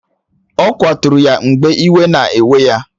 Ọ kwaturu ya mgbe iwe na-ewe ya